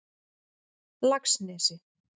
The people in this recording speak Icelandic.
Laxnesi